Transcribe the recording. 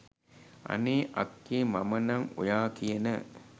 අනේ අක්කේ මම නං ඔයා කියන